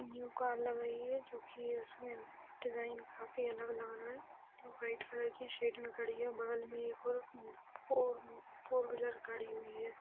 New car लग रही है जो की उसमे डिज़ाइन काफी अलग लग रहा है। व्हाइट कलर के शेड मे खड़ी है | बगल मे एक और फ़ोर फ़ौर व्हीलर खड़ी है।